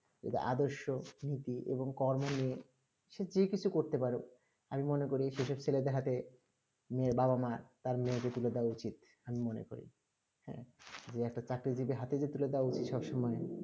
আদর্শ নীতি এবং কর্ম নিয়ে যে কিছু করতে পারুক আমি মোর করি সস্ত্র জায়গা তে মেয়ে বাবা মা মেয়ে কে তুলে দেবা উচিত আমি মনে করি হেঁ যে একটা চরকি যে টি হাথে তুলে দেবা উচিত সব সময়ে